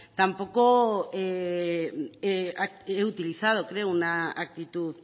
tampoco he utilizado creo una actitud